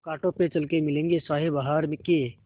कांटों पे चल के मिलेंगे साये बहार के